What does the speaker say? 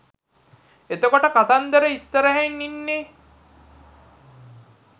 එතකොට කතන්දර ඉස්සරහින් ඉන්නේ